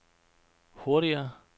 hurtigere